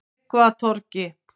Tryggvatorgi